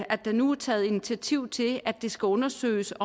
at der nu er taget initiativ til at det skal undersøges